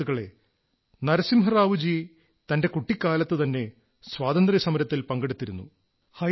സുഹൃത്തുക്കളേ നരസിംഹറാവു ജി തന്റെ കുട്ടിക്കാലത്തുതന്നെ സ്വാതന്ത്ര്യസമരത്തിൽ പങ്കെടുത്തിരുന്നു